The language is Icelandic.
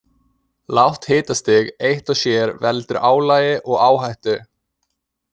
Lágt hitastig eitt og sér veldur álagi og áhættu.